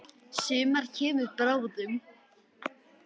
Sumar kemur bráðum.